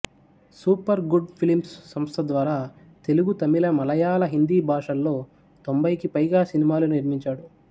super Good Films సంస్థ ద్వారా తెలుగు తమిళ మలయాళ హిందీ భాషల్లో తొంభైకి పైగా సినిమాలు నిర్మించాడు